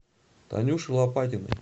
танюши лопатиной